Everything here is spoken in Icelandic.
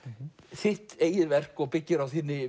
þitt eigið verk og byggir á þinni